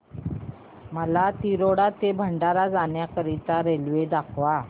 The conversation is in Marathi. मला तिरोडा ते भंडारा जाण्या करीता रेल्वे दाखवा